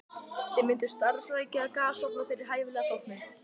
Þið mynduð starfrækja gasofna fyrir hæfilega þóknun.